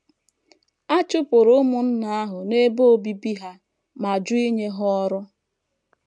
A chụpụrụ ụmụnna ahụ n’ebe obibi ha ma jụ inye ha ọrụ.